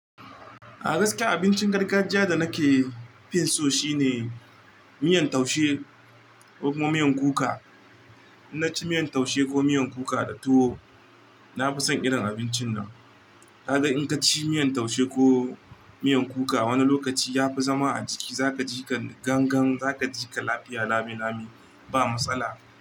A gaskiya abincin gargajiya da nake fin so shine miyan taushe ko kuma miyan kuka. In naci miyan taushe ko miyan kuka da tuwo, nafi son irin abincin nan. Ka ga in ka ci miyan taushe ko miyan kuka wani lokaci ya fi zama a jiki, za kaji ka gangan, za kaji ka lafiya, lami lami ba matsala.